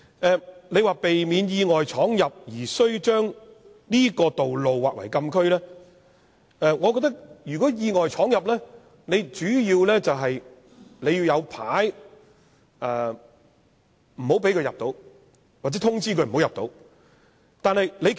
這裏說避免意外闖入而須將道路劃為禁區，我覺得如果要避免意外闖入，便應有告示牌不讓他們闖入或通知他們不要進入。